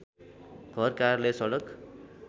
घर कार्यालय सडक